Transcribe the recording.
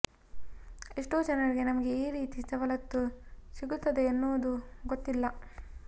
ಎಷ್ಟೋ ಜನರಿಗೆ ನಮಗೆ ಈ ರೀತಿ ಸವಲತ್ತು ಸಿಗುತ್ತದೆ ಎನ್ನುವುದು ಗೊತ್ತಿಲ್ಲ